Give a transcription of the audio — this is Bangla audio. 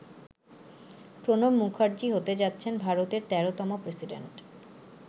প্রণব মুখার্জি হতে যাচ্ছেন ভারতের ১৩তম প্রেসিডেন্ট।